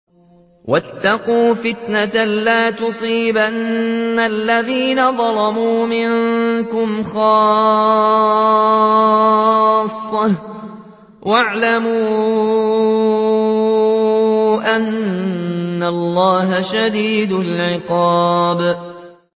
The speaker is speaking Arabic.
وَاتَّقُوا فِتْنَةً لَّا تُصِيبَنَّ الَّذِينَ ظَلَمُوا مِنكُمْ خَاصَّةً ۖ وَاعْلَمُوا أَنَّ اللَّهَ شَدِيدُ الْعِقَابِ